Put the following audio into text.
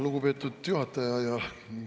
Lugupeetud juhataja!